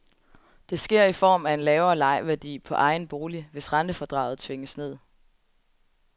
Det sker i form af en lavere lejeværdi på egen bolig, hvis rentefradraget tvinges ned.